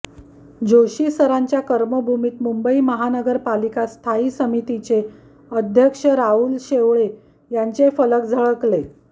जोशी सरांच्या कर्मभूमीत मुंबई महानगरपालिका स्थायी समितीचे अध्यक्ष राहुल शेवाळे यांचे फलक झळकले